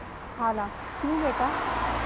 खालाक्यों बेटा